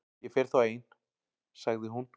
Ég fer þá ein- sagði hún.